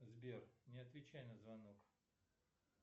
сбер не отвечай на звонок